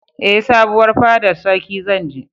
Ee, sabuwar fadar sarkin zan je.